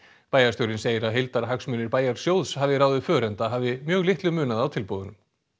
bæjarstjórinn segir að heildarhagsmunir bæjarsjóðs hafi ráðið för enda hafi mjög litlu munað á tilboðunum